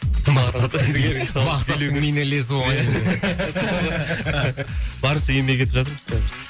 мақсаттың биіне ілесу оңай емес барынша еңбек етіп жатырмыз қазір